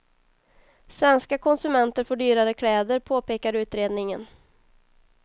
Svenska konsumenter får dyrare kläder, påpekar utredningen.